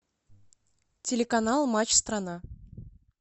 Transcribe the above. телеканал матч страна